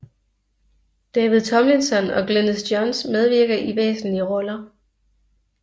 David Tomlinson og Glynis Johns medvirker i væsentlige biroller